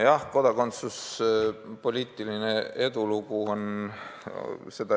Jah, kodakondsuspoliitiline edulugu ...